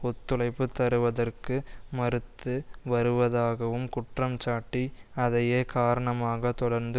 ஒத்துழைப்பு தருவதற்கு மறுத்து வருவதாகவும் குற்றம்சாட்டி அதையே காரணமாக தொடர்ந்து